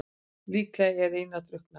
Líklega er Einar drukknaður.